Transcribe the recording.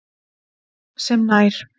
sem nær